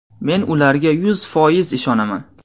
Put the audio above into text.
Men ularga yuz foiz ishonaman.